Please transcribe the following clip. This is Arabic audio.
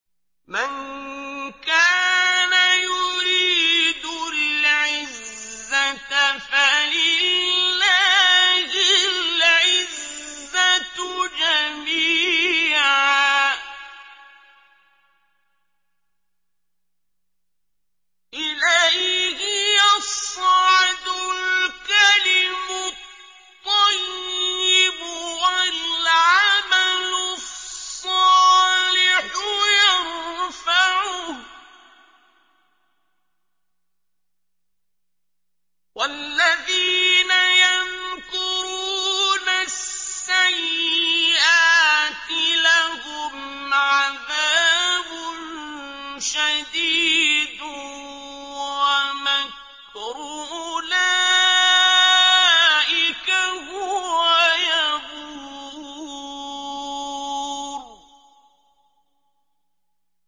مَن كَانَ يُرِيدُ الْعِزَّةَ فَلِلَّهِ الْعِزَّةُ جَمِيعًا ۚ إِلَيْهِ يَصْعَدُ الْكَلِمُ الطَّيِّبُ وَالْعَمَلُ الصَّالِحُ يَرْفَعُهُ ۚ وَالَّذِينَ يَمْكُرُونَ السَّيِّئَاتِ لَهُمْ عَذَابٌ شَدِيدٌ ۖ وَمَكْرُ أُولَٰئِكَ هُوَ يَبُورُ